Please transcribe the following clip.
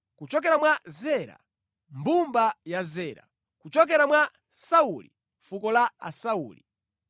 kuchokera mwa Zera, mbumba ya Zera; kuchokera mwa Sauli, fuko la Asauli.